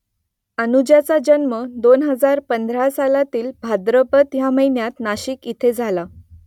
अनुजाचा जन्म दोन हजार पंधरा सालातील भाद्रपद ह्या महिन्यात नाशिक इथे झाला